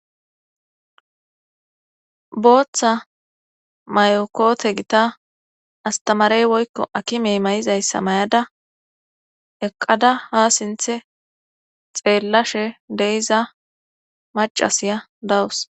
booththa mayo koote gita astamarey woykko akimey mayizayssa mayada eqqada ha sinthe xeellashe de'iza macasiya dawus